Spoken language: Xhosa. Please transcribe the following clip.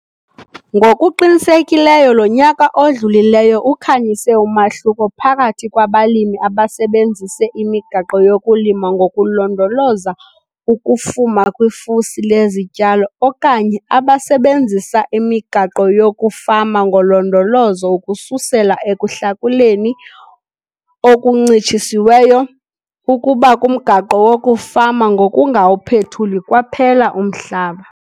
Ngokuqinisekileyo lo nyaka odlulileyo ukhanyise umahluko phakathi kwabalimi abasebenzise imigaqo yokulima ngokulondoloza ukufuma kwifusi lezityalo okanye abasebenzisa imigaqo yokufama ngolondolozo ukususela ekuhlakuleni okuncitshisiweyo ukuba kumgaqo wokufama ngokungawuphethuli kwaphela umhlaba.